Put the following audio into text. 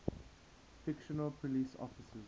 fictional police officers